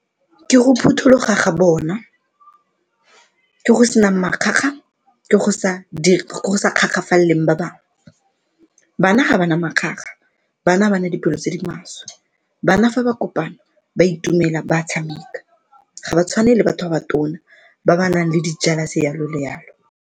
Ke go phuthuloga ga bona go sena makgakga, ke go sa ba bangwe, bana ga bana makgakga, bana ga ba na dipelo tse di maswe. Bana fa ba kopane ba itumela ba tshameka ga ba tshwane le batho ba batona ba ba nang le di-jealous, jalo le jalo.